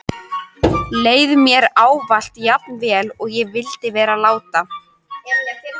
Leið mér ávallt jafn vel og ég vildi vera láta?